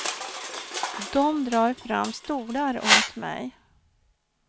De drar fram stolar åt mig.